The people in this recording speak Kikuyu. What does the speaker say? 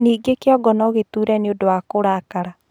Ningĩ kĩongo no gĩtuure nĩũndũ wa kũrakara